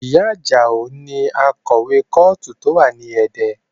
Ìyá Ajao ni akọ̀wé kọ́ọ̀tù tó wà ní Ẹdẹ